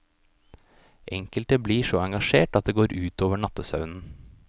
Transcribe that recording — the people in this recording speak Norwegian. Enkelte blir så engasjert at det går ut over nattesøvnen.